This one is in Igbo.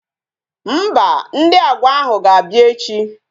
Mba, Ndị Agwa ahụ ga-abịa echi